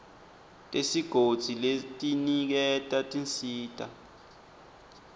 tesigodzi letiniketa tinsita